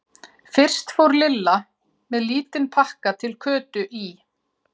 Fyrst fór Lilla með lítinn pakka til Kötu í